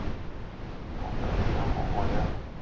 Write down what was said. o ka dira kopo ya